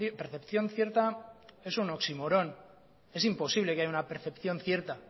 percepción cierta es un oximorón es imposible que haya una percepción cierta